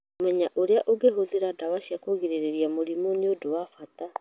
Kũmenya ũrĩa ũngĩhũthĩra ndawa cia kũgirĩrĩria mũrimũ nĩ ũndũ wa bata .